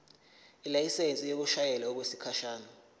ilayisensi yokushayela okwesikhashana